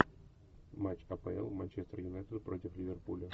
матч апл манчестер юнайтед против ливерпуля